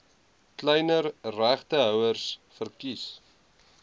kleiner regtehouers verkies